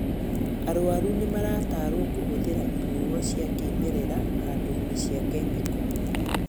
Arwaru nĩmaratarwo kũhũthĩra inyuo cia kĩmerera handu-inĩ cia kemiko